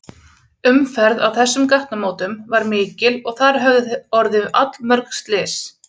Umferð á þessum gatnamótum var mikil og þar höfðu orðið allmörg slys.